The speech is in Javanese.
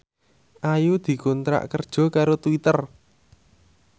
Ayu dikontrak kerja karo Twitter